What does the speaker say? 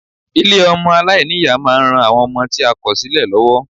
Ilé ọmọ aláìní-Ìyá ma ń ran àwọn ọmọ tí a kò sílẹ̀ lọ́wọ́.